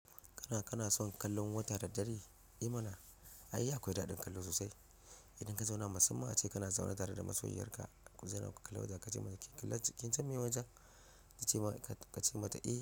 Kana, kana son kallon wata da dare? I mana, ai akwai daɗin kallo sosai. Idan ka zauna musamman ace kana zaune tare da masoyiyar ka, ku zauna ku kalla wata ka ce mata kin kalla kin san miye wacen? Ta ce ma ka ce mata eh.